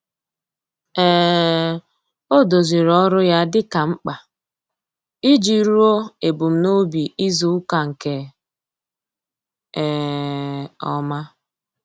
um Ọ́ dòzìrì ọ́rụ́ ya dika mkpa iji rúó èbùmnòbì izùùka nke um ọ́ma.